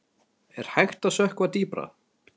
Er hægt að sökkva dýpra?